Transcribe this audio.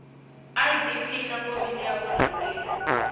idp na komiti ya vurhangeri